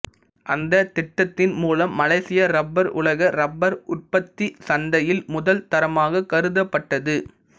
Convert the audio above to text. அந்தத் திட்டத்தின் மூலம் மலேசிய ரப்பர் உலக ரப்பர் உற்பத்திச் சந்தையில் முதல் தரமாகக் கருதப் பட்டது